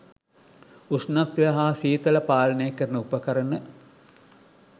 උෂ්ණත්වය හා සීතල පාලනය කරන උපකරණ